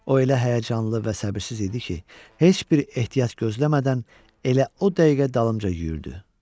O elə həyəcanlı və səbirsiz idi ki, heç bir ehtiyat gözləmədən elə o dəqiqə dalımca yürüyürdü.